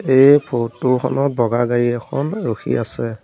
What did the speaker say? এই ফটো খনত বগা গাড়ী এখন ৰখি আছে।